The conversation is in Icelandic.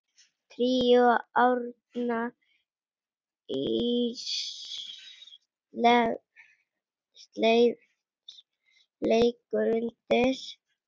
Tríó Árna Ísleifs leikur undir.